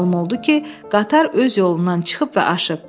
Məlum oldu ki, qatar öz yolundan çıxıb və aşıb.